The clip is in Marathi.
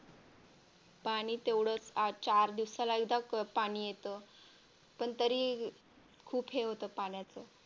पाणी तेवढेच चार दिवसाला एकदा पाणी येतं पण तरी खूप हे होतं पाण्याचा